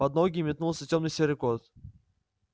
под ноги метнулся тёмно-серый кот